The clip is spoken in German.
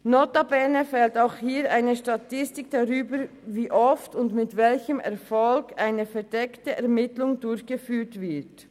Notabene fehlt auch hier eine Statistik darüber, wie oft und mit welchem Erfolg eine verdeckte Ermittlung durchgeführt wird.